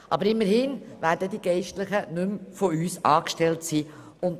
Aber immerhin werden die Geistlichen nicht mehr von uns angestellt sein.